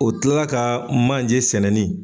O tila ka manje sɛnɛni.